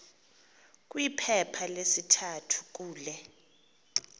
kwiphepha lesithathu kule